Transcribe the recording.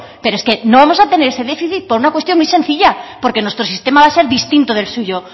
pero es que no vamos a tener ese déficit por una cuestión muy sencilla porque nuestro sistema va a ser distinto del suyo